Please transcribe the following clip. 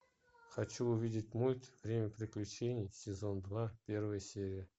хочу увидеть мульт время приключений сезон два первая серия